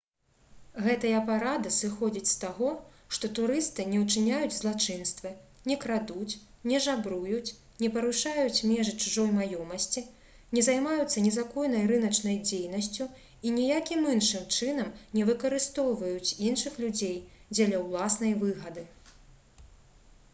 гэтая парада сыходзіць з таго што турысты не ўчыняюць злачынствы не крадуць не жабруюць не парушаюць межы чужой маёмасці не займаюцца незаконнай рыначнай дзейнасцю і ніякім іншым чынам не выкарыстоўваюць іншых людзей дзеля ўласнай выгады